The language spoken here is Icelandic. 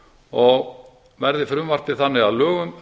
og verði frumvarpið þannig að lögum